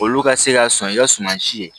Olu ka se ka sɔn i ka suman si ye